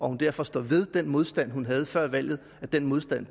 hun derfor står ved den modstand hun havde før valget og at den modstand